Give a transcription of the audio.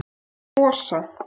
Eða Gosa?